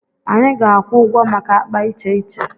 Anyị ga-akwụ ụgwọ maka akpa iche iche.